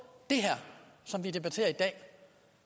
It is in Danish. det her som vi debatterer i dag